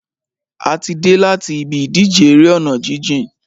A ti dé láti ibi ìdíje eré ọ̀nà jíjìn.